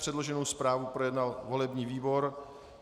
Předloženou zprávu projednal volební výbor.